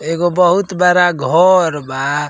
ऐगो बहुत बड़ा घर बा।